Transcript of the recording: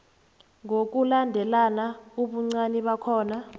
ngokulandelana ubuncani bakhona